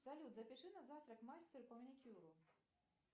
салют запиши на завтра к мастеру по маникюру